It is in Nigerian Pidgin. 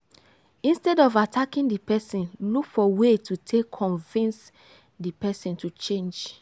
instead of attacking di person look for way to take convince di person to change